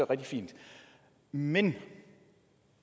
rigtig fint men